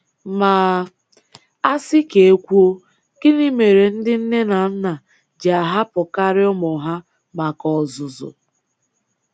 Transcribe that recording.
Ma asị ka e kwuo, gịnị mere ndị nne na nna ji ahapụkarị ụmụ ha maka ọzụzụ?